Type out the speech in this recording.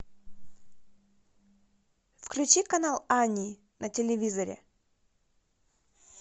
включи канал ани на телевизоре